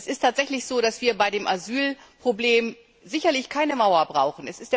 Es ist tatsächlich so, dass wir bei dem Asylproblem sicherlich keine Mauer brauchen.